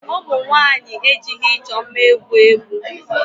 Ụmụ nwaanyị ejighị ịchọ mma egwu egwu.